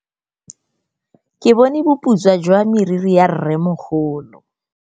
Ke bone boputswa jwa meriri ya rrêmogolo.